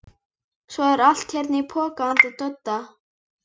Svo er allt hérna í poka handa Dodda.